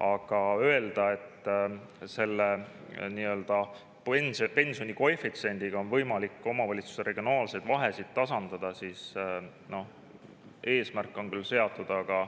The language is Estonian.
Aga öelda, et selle nii-öelda pensioni koefitsiendiga on võimalik omavalitsuste regionaalseid vahesid tasandada – eesmärk on küll seatud, aga